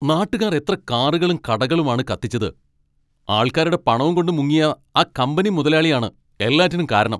നാട്ടുകാർ എത്ര കാറുകളും കടകളും ആണ് കത്തിച്ചത്, ആൾക്കാരുടെ പണവുംകൊണ്ട് മുങ്ങിയ ആ കമ്പനി മുതലാളിയാണ് എല്ലാറ്റിനും കാരണം.